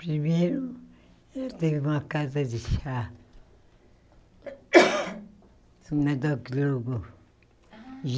Primeiro, eu tenho uma casa de chá.